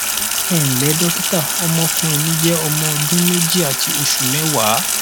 ẹ ǹlẹ dọkítà ọmọkùnrin mi jẹ ọmọ ọdún méjì àti oṣù mẹwàá